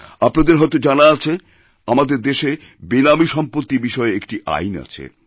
আপনাদের হয়ত জানা আছে আমাদের দেশে বেনামী সম্পত্তি বিষয়ে একটি আইন আছে